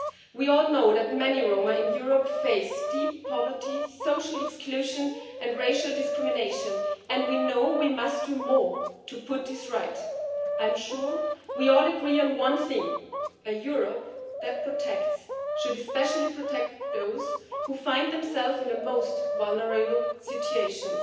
We all know that many Roma in Europe face deep poverty, social exclusion and racial discrimination and we know we must do more to put this right. I am sure we all agree on one thing a Europe that protects should especially protect those who find themselves in the most vulnerable situations.